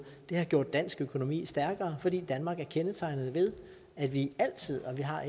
det har gjort dansk økonomi stærkere fordi danmark er kendetegnet ved at vi altid og det har